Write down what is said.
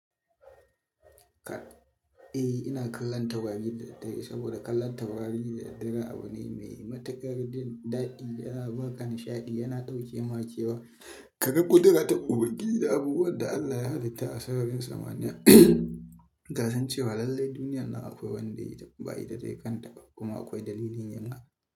Eh, ina kallon taurari da daddare saboda kallon taurari da daddare abu ne mai matukar dadi yana baka nishadi. Yana dauke ma kewa ka ga ƙudura ta ubangiji da abubuwan da Allah ya halitta a sararin samaniya. Ka san cewa lallai duniyar nan akwai wanda yayi ta, ba ita tayi kanta ba kuma akwai dalilin wannan.